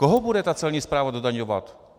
Koho bude ta celní správa dodaňovat?